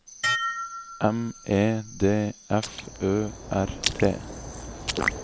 M E D F Ø R T